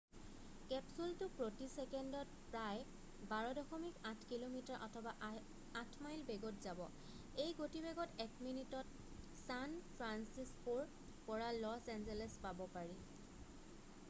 কেপচুলটো প্ৰতি চেকেণ্ডত প্ৰায় 12.8 কিমি অথবা 8 মাইল বেগত যাব এই গতিবেগত 1 মিনিতত ছান ফ্ৰান্সিস্ক'ৰ পৰা লছ এঞ্জেলছ পাব পাৰি